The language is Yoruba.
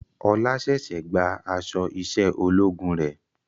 Ọlá ṣẹ̀ṣẹ̀ gba aṣọ iṣẹ́ ológun rẹ̀